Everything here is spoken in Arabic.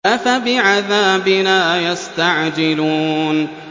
أَفَبِعَذَابِنَا يَسْتَعْجِلُونَ